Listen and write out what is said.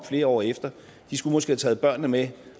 flere år efter de skulle måske have taget børnene med